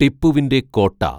ടിപ്പുവിന്‍റെ കോട്ട